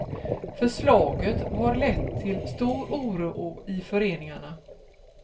Förslaget har lett till stor oro i föreningarna.